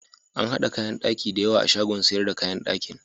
Ana haɗa kayan ɗaki da yawa a shagon siyar da kayan ɗakin.